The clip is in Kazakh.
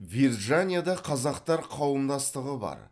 вирджанияда қазақтар қауымдастығы бар